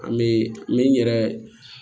An bɛ n yɛrɛ